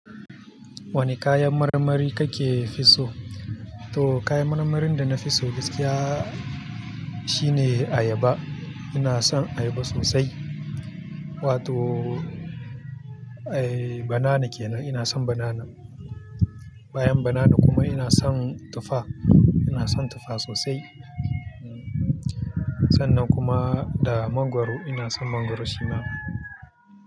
Wanne kayan marmari kake fiso? To kayan marmarin dana fiso gaskiya shine ayaba. Ina son ayaba sosai wato ae banana kenan inason banana, bayan banana kuma inason tufa. Ina son tufa sosai. Sannan kuma da mangwaro ina son mangwaro shina.